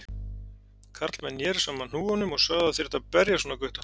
Karlmenn neru saman hnúunum og sögðu að það þyrfti að berja svona gutta.